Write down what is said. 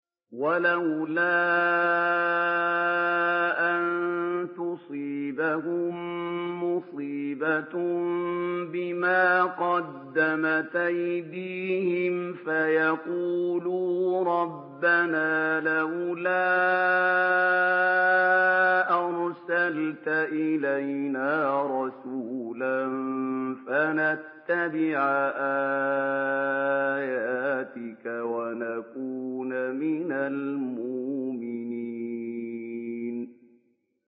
وَلَوْلَا أَن تُصِيبَهُم مُّصِيبَةٌ بِمَا قَدَّمَتْ أَيْدِيهِمْ فَيَقُولُوا رَبَّنَا لَوْلَا أَرْسَلْتَ إِلَيْنَا رَسُولًا فَنَتَّبِعَ آيَاتِكَ وَنَكُونَ مِنَ الْمُؤْمِنِينَ